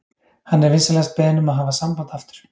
Hann er vinsamlegast beðinn um að hafa samband aftur.